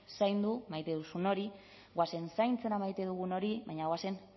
zaindu maite duzun hori goazen zaintzera maite dugun hori baina goazen